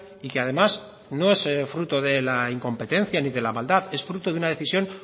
y que además no es fruto de la incompetencia ni de la maldad es fruto de una decisión